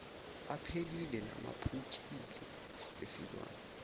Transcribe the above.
aphelile naphukile esilwane